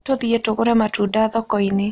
Tũthiĩ tũgũre matunda thoko-inĩ.